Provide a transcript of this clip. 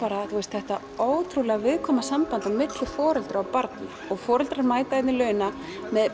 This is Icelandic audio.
þetta ótrúlega viðkvæma samband milli foreldra og barna og foreldrar mæta hérna í laugina með